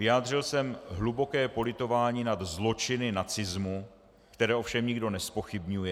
Vyjádřil jsem hluboké politování nad zločiny nacismu, které ovšem nikdo nezpochybňuje.